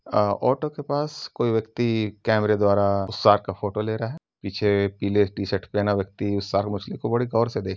अ auto के पास कोई व्यक्ति कैमरे द्वारा शार्क का फोटो ले रहा है। पीछे पीले टीशर्ट पहना व्यक्ति उस शार्क मछली को बड़े गौर से देख --